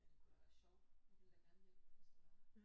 Men det kunne da være sjovt jeg ville da gerne hjælpe hvis det var